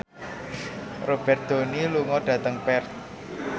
Robert Downey lunga dhateng Perth